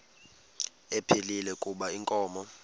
ephilile kuba inkomo